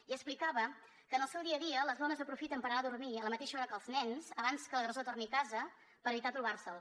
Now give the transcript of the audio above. i explicava que en el seu dia a dia les dones aprofiten per anar a dormir a la mateixa hora que els nens abans que l’agressor torni a casa per evitar trobar se’l